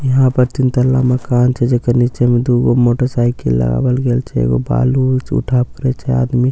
यहाँ पर तीनतल्ला मकान छै जेकर नीचे मे दु गो मोटरसाइकिल लगावल गेल छे एगो बालू उठाब करए छे आदमी --